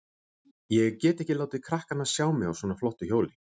Ég get ekki látið krakkana sjá mig á svona flottu hjóli.